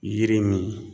Yiri min